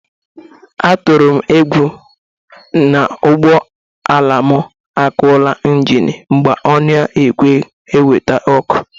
Atụrụ m egwu na ụgbọala m akọla ịnjịnị mgbe o na-ekweghi ewete ọkụ